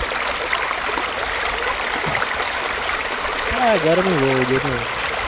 હા ગરમી બહુ છે એટલે યાર.